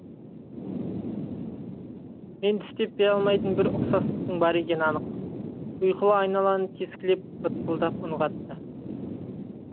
мен түстеп бере алмайтын бір ұқсастықтың бар екені анық ұйқылы айналаны тескілеп бытпылдық үн қатты